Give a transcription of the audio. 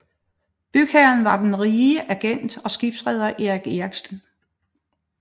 Bygherren var den rige agent og skibsreder Erich Erichsen